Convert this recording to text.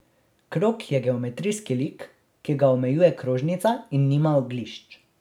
Krog je geometrijski lik, ki ga omejuje krožnica in nima oglišč.